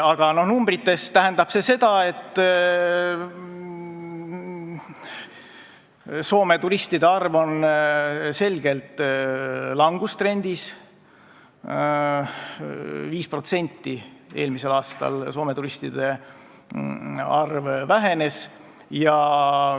Aga numbrites tähendab see seda, et Soome turistide arv on selgelt langustrendis: 5% eelmisel aastal Soome turistide arv vähenes.